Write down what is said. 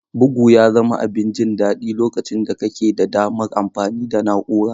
Bugu ya zama abin jin daɗi lokacin da kake da damar amfani da na'ura.